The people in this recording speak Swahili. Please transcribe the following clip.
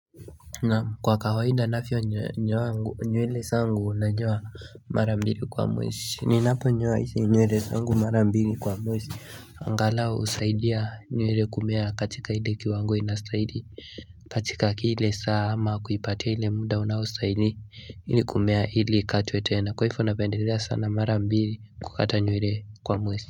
Na kwa kawaida nyewele zangu nanyoa mara mbili kwa mwesi ninapo nyoa nywele zangu mara mbili kwa mwesi angalau usaidia nyewe kumea katika ile kiwango inastahili katika kile saa ama kuipatia ile muda unaostaili ili kumea ili ikatwe tena kwa hivyo napendelea sana mara mbili kukata nywele kwa mwezi.